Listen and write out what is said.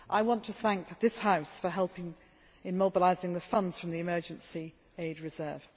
States. I want to thank this House for helping in mobilising the funds from the Emergence Aid